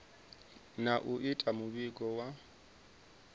na u ita muvhigo wa